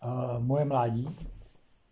монолит